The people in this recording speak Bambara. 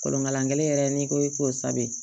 Kolonkalankɛlen yɛrɛ n'i ko i k'o saba de